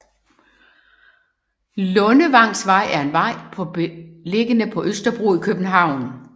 Lundevangsvej er en vej på beliggende på Østerbro i København